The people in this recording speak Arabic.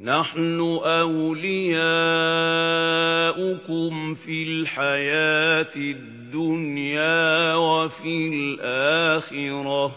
نَحْنُ أَوْلِيَاؤُكُمْ فِي الْحَيَاةِ الدُّنْيَا وَفِي الْآخِرَةِ ۖ